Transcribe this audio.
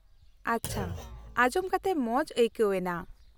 -ᱟᱪᱪᱷᱟ, ᱟᱸᱡᱚᱢ ᱠᱟᱛᱮ ᱢᱚᱡ ᱟᱹᱭᱠᱟᱹᱣᱱᱟ ᱾